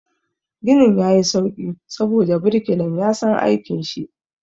Ginin ya yi sauƙi saboda birkilan ya san aikin shi.